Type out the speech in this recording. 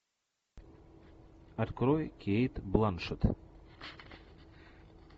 открой кейт бланшетт